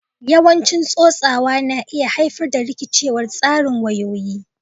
Yawan tsotsawa na iya haifar da rikicewar tsarin wayoyi